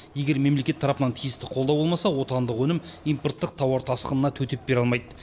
егер мемлекет тарапынан тиісті қолдау болмаса отандық өнім импорттық тауар тасқынына төтеп бере алмайды